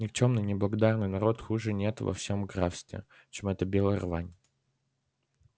никчёмный неблагодарный народ хуже нет во всем графстве чем эта белая рвань